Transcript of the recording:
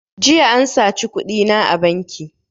Jiya an saci kuɗina a banki